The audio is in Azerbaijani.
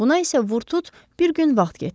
Buna isə vurtut bir gün vaxt getdi.